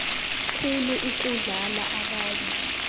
khulu ukudlula abanye